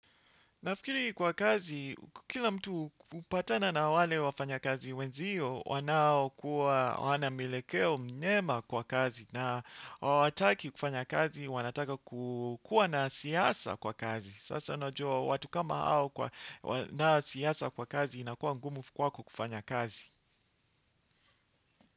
Nafikiri kwa kazi, kila mtu hupatana na wale wafanyakazi wenzio, wanaokuwa, hawana mielekeo myema kwa kazi na hawataki kufanya kazi, wanataka kukuwa na siasa kwa kazi. Sasa unajua, watu kama hao wano siasa kwa kazi inakuwa ngumu kwako kufanya kazi.